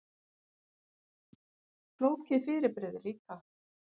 Flókið fyrirbrigði líka.